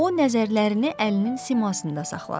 O nəzərlərini əlinin simasında saxladı.